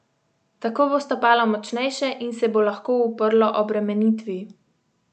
Tako bo stopalo močnejše in se bo lahko uprlo obremenitvi.